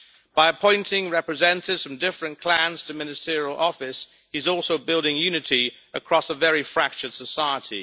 By appointing representatives from different clans to ministerial office, he is also building unity across a very fractured society.